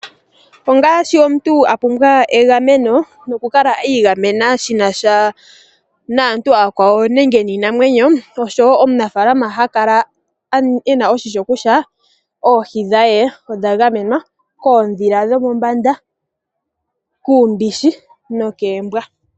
Ongaashi omuntu a pumbwa egameno nokukala iigamena shina sha naantu aakwawo nenge niinamwenyo. Oshowo omunafaalama oha kala ena oshimpwiyu kutya oohi dhe odha gamenwa koondhila dhomombanda, kuumbishi nokoombwa.